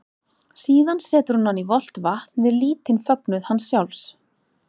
Síðan setur hún hann í volgt vatn við lítinn fögnuð hans sjálfs.